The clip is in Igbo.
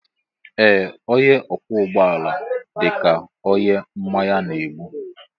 Ee onye ọkwọ ụgbọ ala dịka onye mmanya na-egbu.